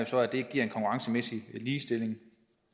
så at det giver en konkurrencemæssig ligestilling